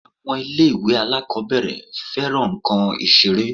Àwọn ilé-ìwé alákọ̀ọ́bẹ̀rẹ̀ fẹ́ran nǹkan Ìṣeré